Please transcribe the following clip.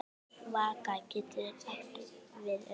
Vaka getur átt við um